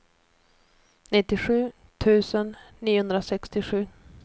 nittiosju tusen niohundrasextiosju